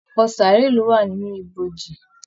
Ọpọ saaré ló wà nínú ibojì.